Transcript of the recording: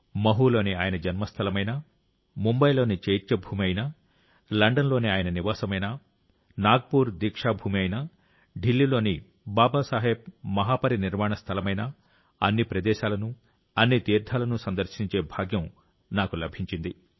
మహూలోని ఆయన జన్మస్థలమైనా ముంబైలోని చైత్యభూమి అయినా లండన్లోని ఆయన నివాసమైనా నాగ్పూర్ దీక్షా భూమి అయినా ఢిల్లీలోని బాబాసాహెబ్ మహాపరినిర్వాణస్థలమైనా అన్ని ప్రదేశాలను అన్ని తీర్థాలను సందర్శించే భాగ్యం నాకు లభించింది